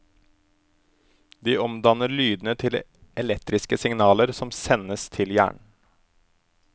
De omdanner lydene til elektriske signaler som sendes til hjernen.